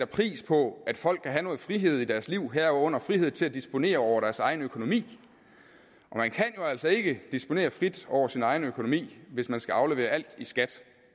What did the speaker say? pris på at folk kan have noget frihed i deres liv herunder frihed til at disponere over deres egen økonomi og man kan altså ikke disponere frit over sin egen økonomi hvis man skal aflevere alt i skat